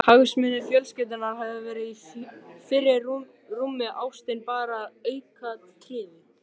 Hagsmunir fjölskyldunnar hafi verið í fyrirrúmi, ástin bara aukaatriði.